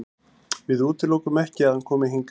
Við útilokum ekki að hann komi hingað.